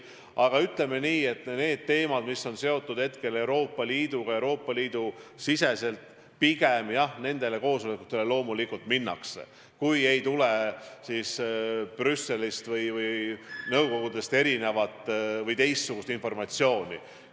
Aga ütleme nii, et kui tegu teemadega, mis on seotud Euroopa Liiduga, Euroopa Liidu siseste probleemidega, siis nendele koosolekutele loomulikult minnakse, kui ei tule Brüsselist või mõnest nõukogust teistsugust informatsiooni.